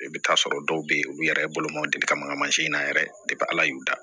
I bɛ t'a sɔrɔ dɔw bɛ yen olu yɛrɛ ye bolomanw deli ka mangama mansin na yɛrɛ ala y'u da